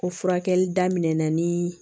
Ko furakɛli daminɛna ni